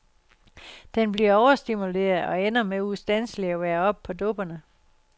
Den bliver overstimuleret og ender med ustandselig at være oppe på dupperne.